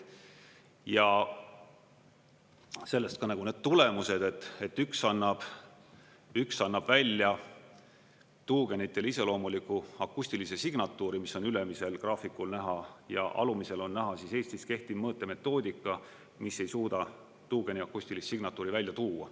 Ja sellest ka need tulemused, et üks annab välja tuugenitele iseloomuliku akustilise signatuuri, mis on ülemisel graafikul näha, ja alumisel on näha Eestis kehtiv mõõtemetoodika, mis ei suuda tuugeni akustilist signatuuri välja tuua.